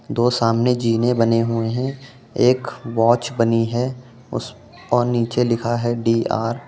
दो सामने जीने बने हुए है एक वाच बनी है उस और नीचे लिखा है डीर --